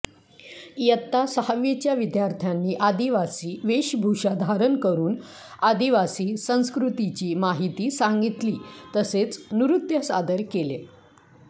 इयत्ता सहावीच्या विद्यार्थ्यांनी आदिवासी वेशभूषा धारण करून आदिवासी संस्कृतीची माहिती सांगितली तसेच नृत्य सादर केले